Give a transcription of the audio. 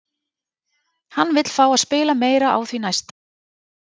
Hann vill fá að spila meira á því næsta!